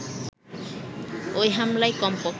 ওই হামলায় কমপক্ষে